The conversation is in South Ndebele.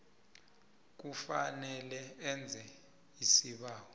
kufanele enze isibawo